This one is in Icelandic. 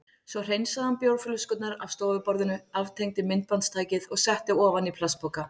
Svo hreinsaði hann bjórflöskurnar af stofuborðinu, aftengdi myndbandstækið og setti ofan í plastpoka.